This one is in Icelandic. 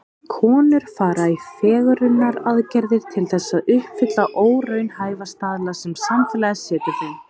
Konur fara í fegrunaraðgerðir til þess að uppfylla óraunhæfa staðla sem samfélagið setur þeim.